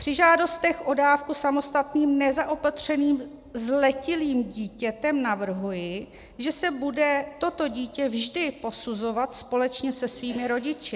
Při žádostech o dávku samostatným nezaopatřeným zletilým dítětem navrhuji, že se bude toto dítě vždy posuzovat společně se svými rodiči.